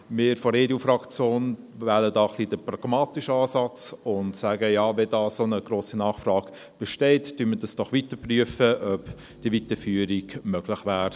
Wir von der EDUFraktion wählen hier ein wenig den pragmatischen Ansatz und sagen: «Ja, wenn da so eine grosse Nachfrage besteht, prüfen wir doch weiter, ob die Weiterführung möglich wäre.»